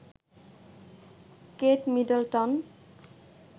Kate Middleton